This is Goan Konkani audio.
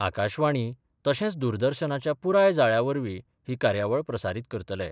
आकाशवाणी तशेच दूरदर्शनाच्या पुराय जाळ्यावरवी ही कार्यावळ प्रसारीत करतले.